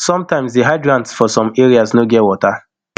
sometimes di hydrants for some areas no get water